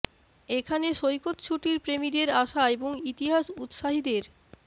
এখানে সৈকত ছুটির প্রেমীদের আসা এবং ইতিহাস উত্সাহীদের